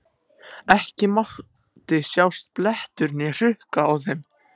Ekki mátti sjást blettur né hrukka á þeim.